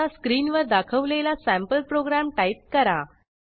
आता स्क्रीनवर दाखवलेला सँपल प्रोग्रॅम टाईप करा